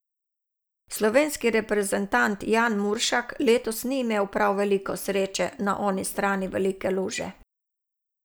Slovenski reprezentant Jan Muršak letos ni imel prav veliko sreče na oni strani velike luže.